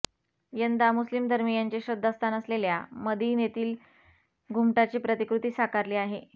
यंदा मुस्लीम धर्मीयांचे श्रद्धास्थान असलेल्या मदिनेतील घुमटाची प्रतिकृती साकारली आहे